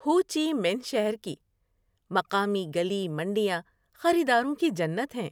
ہو Chi Minh شہر کی مقامی گلی منڈیاں خریداروں کی جنت ہیں۔